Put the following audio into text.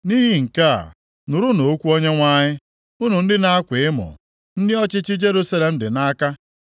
Nʼihi nke a, nụrụnụ okwu Onyenwe anyị, unu ndị na-akwa emo, ndị ọchịchị Jerusalem dị nʼaka.